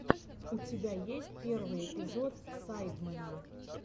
у тебя есть первый эпизод сайдмена